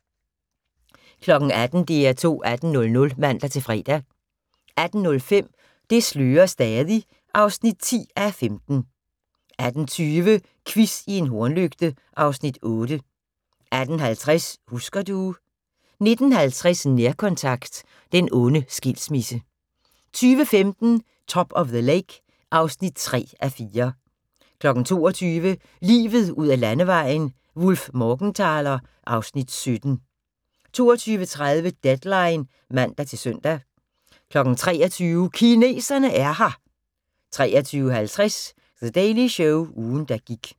18:00: DR2 18.00 (man-fre) 18:05: Det slører stadig (10:15) 18:20: Quiz i en hornlygte (Afs. 8) 18:50: Husker du... 19:50: Nærkontakt – den onde skilsmisse 20:15: Top of the Lake (3:4) 22:00: Livet ud ad landevejen: Wullf/Morgenthaler (Afs. 17) 22:30: Deadline (man-søn) 23:00: Kineserne er her! 23:50: The Daily Show – ugen der gik